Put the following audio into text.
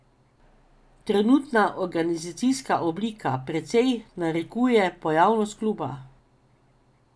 Trenutna organizacijska oblika precej narekuje pojavnost kluba.